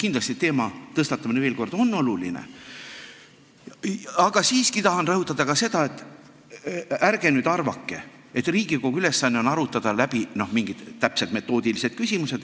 Teema veel kord tõstatamine on kindlasti oluline, aga siiski tahan rõhutada ka seda, et ärge nüüd arvake, nagu Riigikogu ülesanne oleks arutada läbi mingeid täpseid metoodilisi küsimusi.